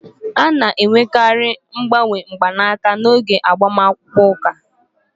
A na-enwekarị mgbanwe mgbanaka n'oge agbamakwụkwọ ụka